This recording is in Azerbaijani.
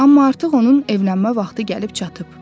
Amma artıq onun evlənmə vaxtı gəlib çatıb.